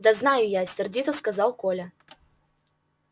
да знаю я сердито сказал коля